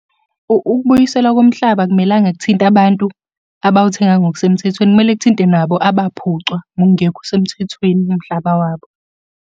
Ukubuyisela komhlaba akumelanga kuthinte abantu abawuthenga ngokusemthethweni, kumele kuthinte nabo abaphucwa ngokungekho semthethweni umhlaba wabo.